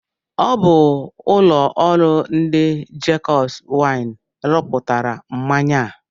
Ọ bụ ụlọ ọrụ ndị Jacobs Wine rụpụtara mmanya a.